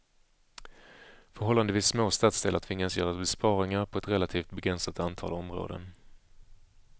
Förhållandevis små stadsdelar tvingas göra besparingar på ett relativt begränsat antal områden.